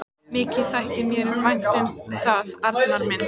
Mikið þætti mér vænt um það, Arnar minn!